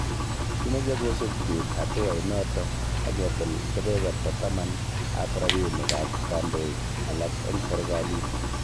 Kimeche kosuub biik hatuainoto aketil kebeberta taman ab rabinik ab kandoik alak eng serkalit